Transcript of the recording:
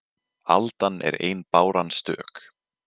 Aldan er ein báran stök